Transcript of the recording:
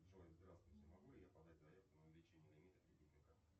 джой здравствуйте могу ли я подать заявку на увеличение лимита кредитной карты